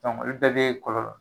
olu bɛ bɛ kɔlɔn.